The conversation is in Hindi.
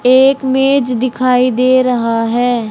एक मेज दिखाई दे रहा है।